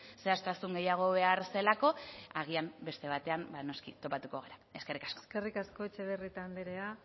zehaztasun gehiago behar zelako agian beste batean noski topatuko gara eskerrik asko eskerrik asko etxebarrieta andrea